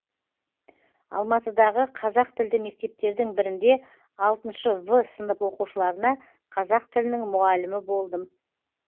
алматыдағы қазақ тілді мектептердің бірінде алтыншы в сынып оқушыларына қазақ тілінің мұғалімі болдым